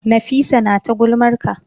Nafisa tana ta gulmar ka.